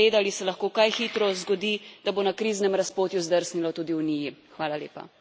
Če jih bomo spregledali, se lahko kaj hitro zgodi, da bo na kriznem razpotju zdrsnilo tudi Uniji.